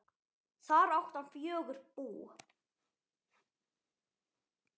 Þar átti hann fjögur bú.